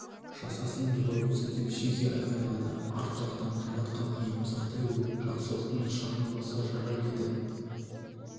жасасын революция деп шеге айқайлады арт жақтан жаратқан ием сақтай гөр жақсылықтың нышаны болса жарар еді